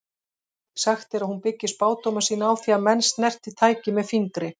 Sagt er að hún byggi spádóma sína á því að menn snerti tækið með fingri.